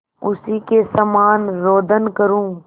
उसी के समान रोदन करूँ